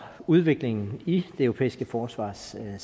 udviklingen i det europæiske forsvarssamarbejde